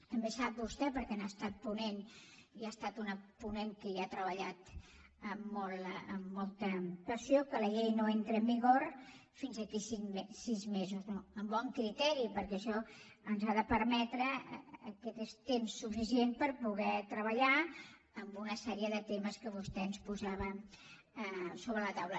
també sap vostè perquè n’ha estat ponent i ha estat una ponent que hi ha treballat amb molta passió que la llei no entra en vigor fins d’aquí a sis mesos no amb bon criteri perquè això ens ha de permetre aquest temps suficient per poder treballar en una sèrie de temes que vostè ens posava sobre la taula